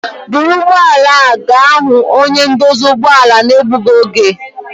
Bụrụ ụgbọb ala a ga hu onye ndosi ụgbọ ala. na-egbugi oge!